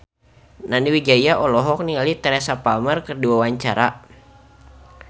Nani Wijaya olohok ningali Teresa Palmer keur diwawancara